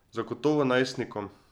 Zagotovo najstnikom.